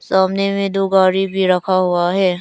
सामने में दो गाड़ी भी रखा हुआ है।